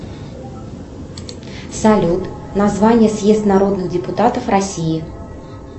салют название съезд народных депутатов россии